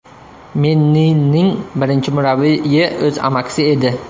Mennining birinchi murabbiyi o‘z amakisi edi.